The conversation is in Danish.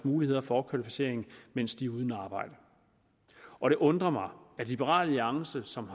muligheder for opkvalificering mens de er uden arbejde og det undrer mig at liberal alliance som